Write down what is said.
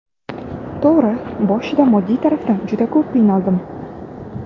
To‘g‘ri, boshida moddiy tarafdan juda ko‘p qiynaldim.